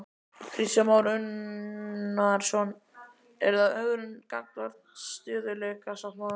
Kristján Már Unnarsson: Er það ögrun gagnvart stöðugleikasáttmálanum?